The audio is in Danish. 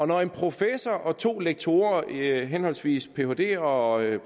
når en professor og to lektorer der er henholdsvis phd og